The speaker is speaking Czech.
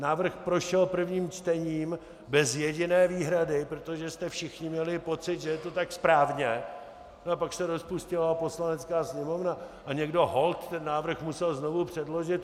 Návrh prošel prvním čtením bez jediné výhrady, protože jste všichni měli pocit, že je to tak správně, no a pak se rozpustila Poslanecká sněmovna a někdo holt ten návrh musel znovu předložit.